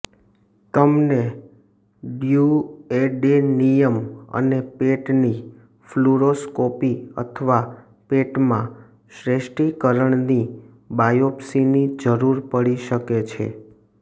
તમને ડ્યુઓડેનિયમ અને પેટની ફ્લૂરોસ્કોપી અથવા પેટમાં શ્વૈષ્ટીકરણની બાયોપ્સીની જરૂર પડી શકે છે